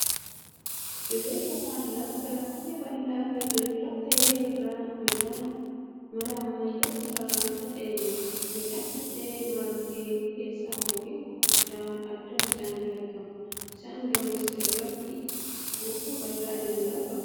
Dirree yookan lafa garmalee bal'aa fi diriiraa ta'e irra midhaan mala ammayyaan sararaan faca'ee jira. Midhaan faca'ee marge keessa mukkeen gurguddoon addaan faffaca'anii argamu. Isaan gama irratti hurufa bal'aa diriiratu aragama.